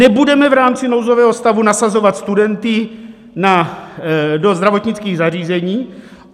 Nebudeme v rámci nouzového stavu nasazovat studenty do zdravotnických zařízení.